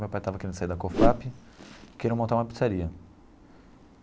Meu pai estava querendo sair da Cofap, queria montar uma pizzaria.